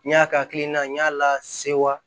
N y'a ka hakilina n y'a la sewa